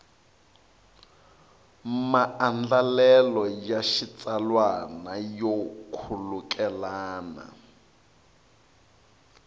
maandlalelo ya xitsalwana yo khulukelana